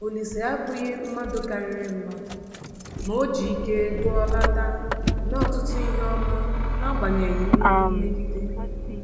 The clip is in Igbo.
Olise abụghị mmadụ karịrị mmadụ, ma o ji ike gụọlata mee ọtụtụ ihe ọma n’agbanyeghị nnukwu mmegide.